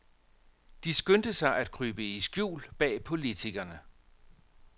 De skyndte sig at krybe i skjul bag politikerne.